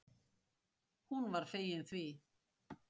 Hún var fegin því.